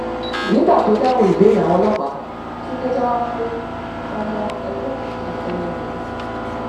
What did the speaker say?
nígbà tó ń dáhùn ìbéèrè àwọn ọlọpàá túnde jẹwọ pé ọmọ ẹgbẹ òkùnkùn ẹyẹ lòun